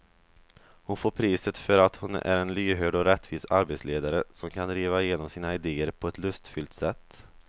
Hon får priset för att hon är en lyhörd och rättvis arbetsledare som kan driva igenom sina idéer på ett lustfyllt sätt.